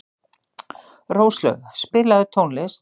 Róslaug, spilaðu tónlist.